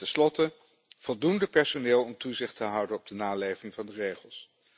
En ten slotte voldoende personeel om toezicht te houden op de naleving van de regels.